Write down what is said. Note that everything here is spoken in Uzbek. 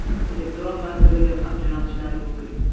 elektron manziliga xat jo‘natishlari mumkin.